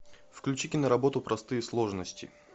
включи киноработу простые сложности